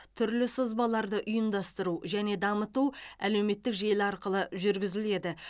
түрлі сызбаларды ұйымдастыру және дамыту әлеуметтік желі арқылы жүргізіледі